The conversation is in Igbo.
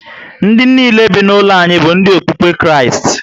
Ndị nile be na ụlo anyị bu ndi okpukpe Kristi